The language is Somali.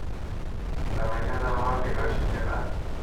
Dabinnada loo dhigo shinnida.